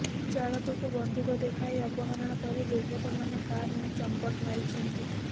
ଚାଳକକୁ ବନ୍ଧୁକ ଦେଖାଇ ଅପହରଣ କରି ଦୁର୍ବୃତ୍ତମାନେ କାର୍ ନେଇ ଚମ୍ପଟ୍ ମାରିଛନ୍ତି